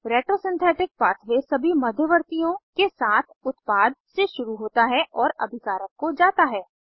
retro synthetic pathway सभी मध्यवर्तीयों के साथ उत्पाद से शुरू होता है और अभिकारक को जाता है